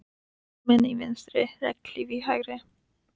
Blómin í vinstri, regnhlíf í hægri.